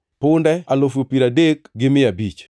punde alufu piero adek gi mia abich (30,500),